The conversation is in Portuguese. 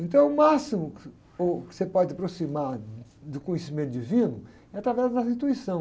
Então, o máximo que você, o que pode aproximar do conhecimento divino é através da intuição.